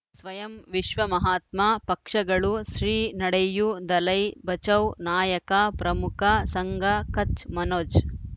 ಸ್ವಯಂ ವಿಶ್ವ ಮಹಾತ್ಮ ಪಕ್ಷಗಳು ಶ್ರೀ ನಡೆಯೂ ದಲೈ ಬಚೌ ನಾಯಕ ಪ್ರಮುಖ ಸಂಘ ಕಚ್ ಮನೋಜ್